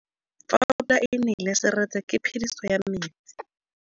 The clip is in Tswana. Fa pula e nelê serêtsê ke phêdisô ya metsi.